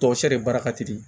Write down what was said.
Tɔsɛri de baara ka teli